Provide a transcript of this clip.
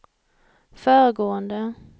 föregående